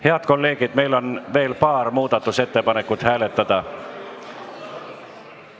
Head kolleegid, meil on veel paar muudatusettepanekut läbi vaadata.